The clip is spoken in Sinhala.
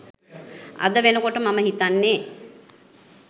අද වෙනකොට මම හිතන්නේ